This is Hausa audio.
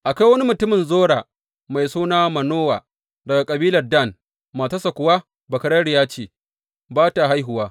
Akwai wani mutumin Zora, mai suna Manowa, daga kabilar Dan, matarsa kuwa bakararriya ce, ba ta haihuwa.